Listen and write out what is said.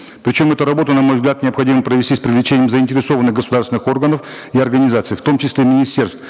причем эту работу на мой взгляд необходимо провести с привлечением заинтересованных государственных органов и организаций в том числе министерств